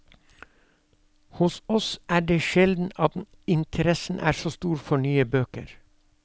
Hos oss er det sjelden at interessen er så stor for nye bøker.